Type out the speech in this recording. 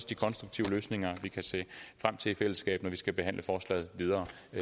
de konstruktive løsninger vi kan se frem til i fællesskab når vi skal behandle forslaget videre